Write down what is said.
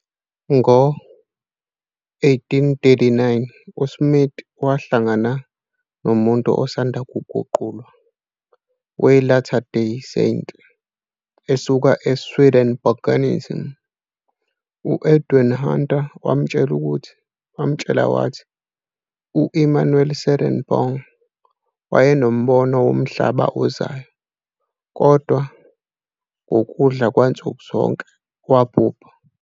Ngo-1839 uSmith wahlangana nomuntu osanda kuguqulwa we-Latter Day Saint esuka eSwedenborgianims, u-Edward Hunter, wamtshela wathi, "u-Emanuel Swedenborg wayenombono womhlaba ozayo, kodwa ngokudla kwansuku zonke wabhubha."